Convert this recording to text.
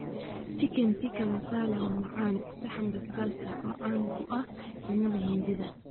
Chicken tikka masala waa macaan, saxan basbaas ah oo caan ku ah cunnada Hindida.